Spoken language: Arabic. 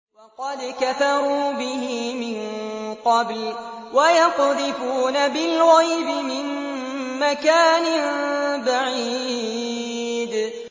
وَقَدْ كَفَرُوا بِهِ مِن قَبْلُ ۖ وَيَقْذِفُونَ بِالْغَيْبِ مِن مَّكَانٍ بَعِيدٍ